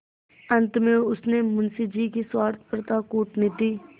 अंत में उसने मुंशी जी की स्वार्थपरता कूटनीति